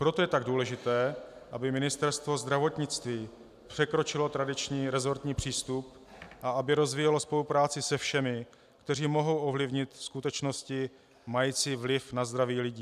Proto je tak důležité, aby Ministerstvo zdravotnictví překročilo tradiční resortní přístup a aby rozvíjelo spolupráci se všemi, kteří mohou ovlivnit skutečnosti mající vliv na zdraví lidí.